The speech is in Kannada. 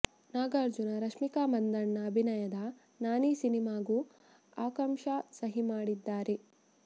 ನಾಗಾರ್ಜುನ ರಶ್ಮಿಕಾ ಮಂದಣ್ಣ ಅಭಿನಯದ ನಾನಿ ಸಿನಿಮಾಗೂ ಆಕಾಂಕ್ಷಾ ಸಹಿ ಮಾಡಿದ್ದಾರೆ